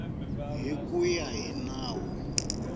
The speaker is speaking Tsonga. hi ku ya hi nawu